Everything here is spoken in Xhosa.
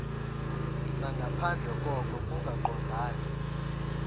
nangaphandle koko kungaqondani